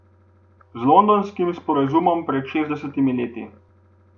Z londonskim sporazumom pred šestdesetimi leti.